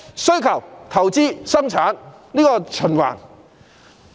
需求、投資和生產這一循環。